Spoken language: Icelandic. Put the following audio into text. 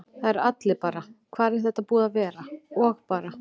Það eru allir bara: Hvar er þetta búið að vera? og bara.